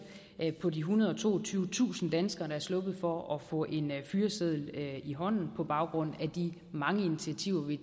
på de ethundrede og toogtyvetusind danskere der er sluppet for at få en fyreseddel i hånden på baggrund af de mange initiativer vi